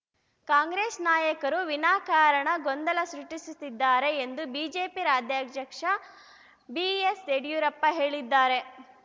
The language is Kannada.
ಕಾಂಗ್ರೆಸ್‌ ನಾಯಕರು ವಿನಾಕಾರಣ ಗೊಂದಲ ಸೃಷ್ಟಿಸುತ್ತಿದ್ದಾರೆ ಎಂದು ಬಿಜೆಪಿ ರಾಜ್ಯಾಧ್ಯಕ್ಷ ಬಿಎಸ್‌ಯಡಿಯೂರಪ್ಪ ಹೇಳಿದ್ದಾರೆ